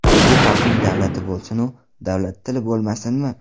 Bu xalqning davlati bo‘lsinu, davlatli tili bo‘lmasinmi?